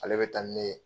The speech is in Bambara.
Ale bɛ taa ni ne ye